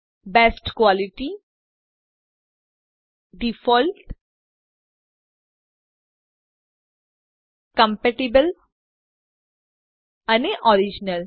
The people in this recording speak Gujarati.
બેસ્ટ ક્વાલિટી ડિફોલ્ટ કોમ્પેટિબલ અને ઓરિજિનલ